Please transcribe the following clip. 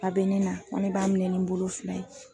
A bɛ ne na ko ne b'a minɛ ni n bolo fila ye.